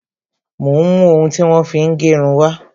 Mo ń mú ohun tí wón fi ń gérun wá